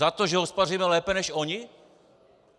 Za to, že hospodaříme lépe než oni?